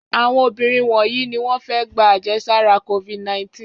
Àwọn obìnrin wọ̀nyí ni wọ́n fẹ́ gba àjẹsára Covid-19.